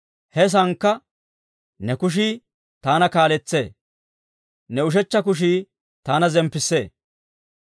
he saankka ne kushii taana kaaletsee; ne ushechcha kushii taana zemppissee.